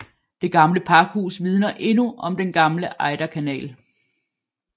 Det gamle pakhus vidner endnu om den gamle Ejderkanal